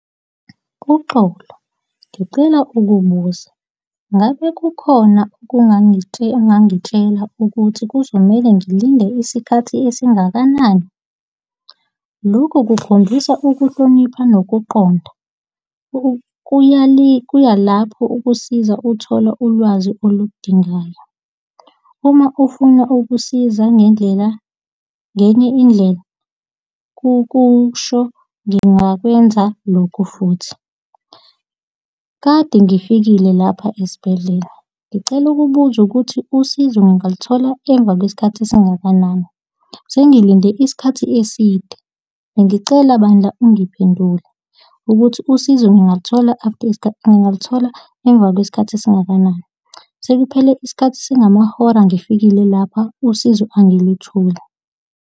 Uxolo, ngicela ukubuza, ngabe kukhona okungangitshela, ongangitshela ukuthi kuzomele ngilinde isikhathi esingakanani? Lokhu kukhombisa ukuhlonipha nokuqonda kuya lapho ukusiza uthola ulwazi oludingakayo. Uma ufuna ukusiza ngendlela ngenye indlela, kukusho ngingakwenza lokhu futhi. Kade ngifikile lapha esibhedlela, ngicela ukubuza ukuthi usizo ngaluthola emva kwesikhathi esingakanani? Sengilinde isikhathi eside. Bengicela bandla ungiphendule ukuthi usizo ngingayithola after isikhathi ngingaluthola emva kwesikhathi esingakanani? Sekuphele isikhathi esingamahora ngifikile lapha, usizo angilitholi.